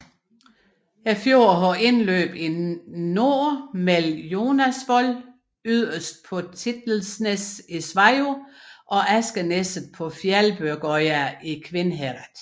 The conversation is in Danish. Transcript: Fjorden har indløb i nord mellem Jonasvoll yderst på Tittelsnes i Sveio og Askeneset på Fjelbergøya i Kvinnherad